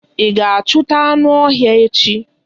Ị ga-achụta anụ ọhịa echi!